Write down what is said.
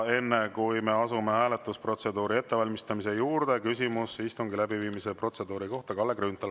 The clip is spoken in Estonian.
Enne, kui me asume hääletusprotseduuri ettevalmistamise juurde, on küsimus istungi läbiviimise protseduuri kohta Kalle Grünthalil.